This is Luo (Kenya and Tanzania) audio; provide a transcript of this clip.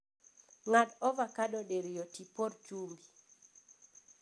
Ng'ad avokado diriyo tipor chumbi